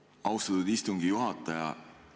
Aitäh, austatud istungi juhataja!